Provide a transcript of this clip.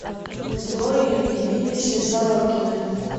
зое ильиничне сорокиной